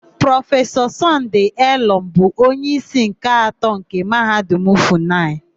Prọfesọ Sọnde Elọm bụ onyeísí nke atọ nke Mahadum Fụnayị.